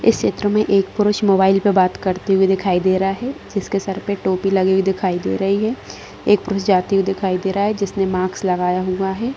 इस चित्र में एक पुरुष मोबाइल में बात करता दिखाई दे रहा है जिसके सर पे टोपी लगी हुई दिखाई दे रही है एक पुरुष जाते हुए दिखाई दे रहा है जिसने मास्क लागया हुआ है।